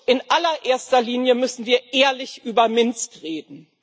In aller erster Linie müssen wir ehrlich über Minsk reden.